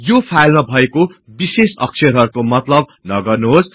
यो फाईलमा भएको विषेश अक्षरहरुको मतलब नगर्नुहोस्